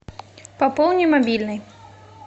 пополни мобильный